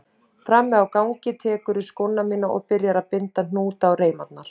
Frammi á gangi tekurðu skóna mína og byrjar að binda hnúta á reimarnar.